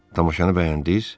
Tamaşanı bəyəndiniz?